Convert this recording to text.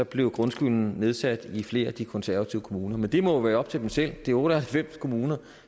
blev grundskylden nedsat i flere af de konservative kommuner men det må jo være op til dem selv det er otte og halvfems kommuner